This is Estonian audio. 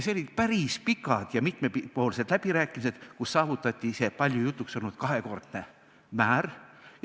Olid päris pikad ja mitmepoolsed läbirääkimised, kus saavutati see palju jutuks olnud kahekordne määr.